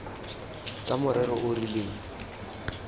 tsa morero o o rileng